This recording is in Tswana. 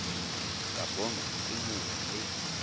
ka bonwa ke mongwe le